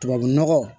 Tubabunɔgɔ